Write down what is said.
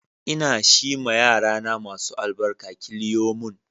Ina shi ma yarana masu albarka killiyomun.